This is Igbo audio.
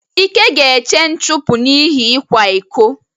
Ike ga-eche nchụpụ n'ihi ịkwa iko.